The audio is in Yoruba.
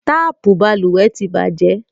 Tapu balùwẹ́ tí bàjẹ́